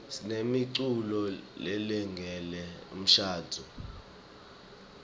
sinemiculo lelungele umshadvo